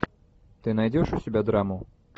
ты найдешь у себя драму